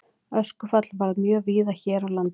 Öskufall varð mjög víða hér á landi.